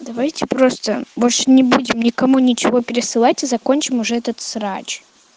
давайте просто больше не будем никому ничего пересылать и закончим уже этот срач